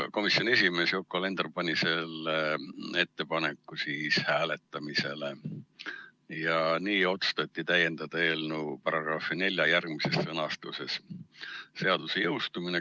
Komisjoni esimees Yoko Alender pani selle ettepaneku hääletamisele ja nii otsustati täiendada eelnõu §-ga 4 järgmises sõnastuses: "Seaduse jõustumine.